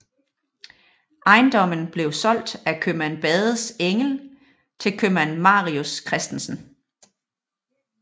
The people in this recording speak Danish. Ejendommen blev solgt af købmand Badens enke til købmand Marius Christensen